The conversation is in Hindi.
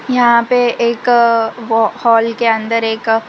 यहां पे एक हाल के अन्दर एक--